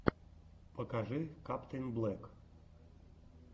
покажи каптэйнблек